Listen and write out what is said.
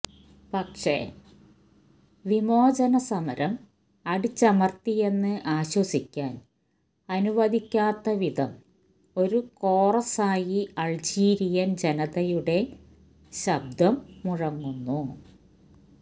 പക്ഷേ വിമോചനസമരം അടിച്ചമർത്തിയെന്ന് ആശ്വസിക്കാൻ അനുവദിക്കാത്തവിധം ഒരു കോറസായി അൾജീരിയൻ ജനതയുടെ ശബ്ദം മുഴങ്ങുന്നു